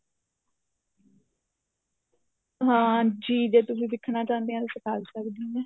ਹਾਂ ਜੀ ਜੇ ਤੁਸੀਂ ਸਿੱਖਣਾ ਚਾਉਂਦੇ ਓ ਤਾਂ ਸਿਖਾ ਵੀ ਸਕਦੀ ਆ